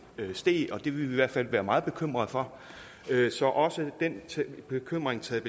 steg og det ville vi i hvert fald være meget bekymrede for så også den bekymring taget